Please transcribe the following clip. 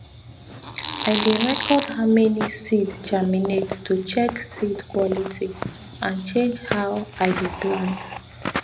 i dey record how many seed germinate to check seed quality and change how i dey plant